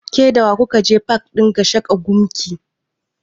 Ke da wa ku ka je pak ɗin Gashaka Gumti?